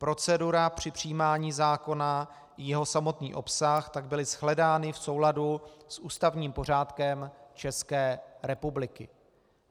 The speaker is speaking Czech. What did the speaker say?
Procedura při přijímání zákona i jeho samotný obsah tak byly shledány v souladu s ústavním pořádkem České republiky.